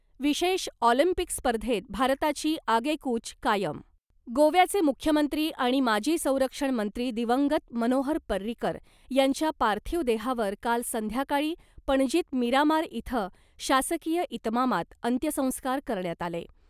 विशेष ऑलिम्पिक स्पर्धेत भारताची आगेकूच कायम. गोव्याचे मुख्यमंत्री आणि माजी संरक्षण मंत्री दिवंगत मनोहर पर्रीकर यांच्या पार्थिव देहावर काल संध्याकाळी पणजीत मिरामार इथं शासकीय इतमामात अंत्यसंस्कार करण्यात आले .